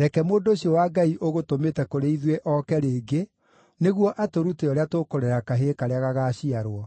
reke mũndũ ũcio wa Ngai ũgũtũmĩte kũrĩ ithuĩ oke rĩngĩ nĩguo atũrute ũrĩa tũkũrera kahĩĩ karĩa gagaaciarwo.”